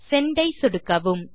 send ஐ சொடுக்கவும்